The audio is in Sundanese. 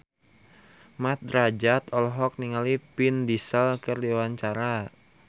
Mat Drajat olohok ningali Vin Diesel keur diwawancara